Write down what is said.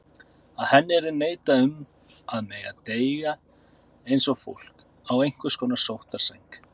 Að henni yrði neitað um að mega deyja eins og fólk, á einhvers konar sóttarsæng.